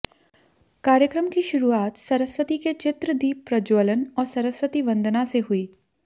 कार्यक्रम की शुरुआत सरस्वती के चित्र दीप प्रज्वलन और सरस्वती वंदना से हुई